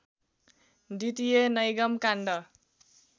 द्वितीय नैगम काण्ड